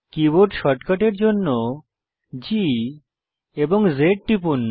keyboard শর্টকাটের জন্য G এবং Z টিপুন